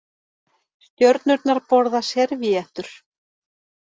Stjörnurnar borða servíettur